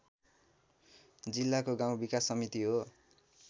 जिल्लाको गाउँ विकास समिति हो